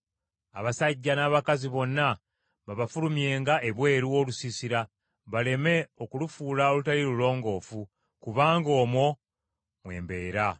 Abasajja n’abakazi bonna babafulumyenga ebweru w’olusiisira baleme okulufuula olutali lulongoofu, kubanga omwo mwe mbeera.”